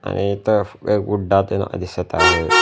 आणि इथं एक दिसत आहे.